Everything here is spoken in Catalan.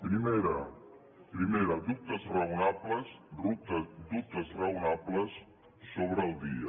primera dubtes raonables dubtes raonables sobre el dia